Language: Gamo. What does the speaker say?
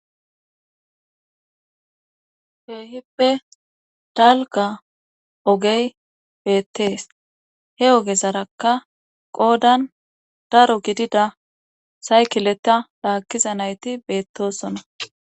Keehippe dalka ogey beettees he oge sarakka qoodan daro gidida saykileta laakkiza nayti beettosona.